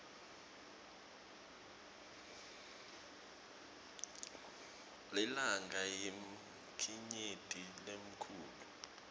lilanga yinkhanyeti lenkhulu